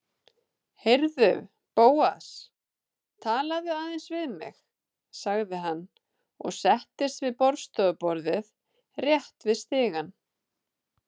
Heyrðu, Bóas, talaðu aðeins við mig- sagði hann og settist við borðstofuborðið rétt við stigann.